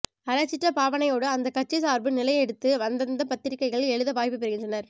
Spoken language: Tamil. அறச்சீற்ற பாவனையோடு அந்தந்த கட்சி சார்பு நிலை எடுத்து அந்தந்த பத்திரிக்கைகளில் எழுத வாய்ப்பு பெறுகின்றனர்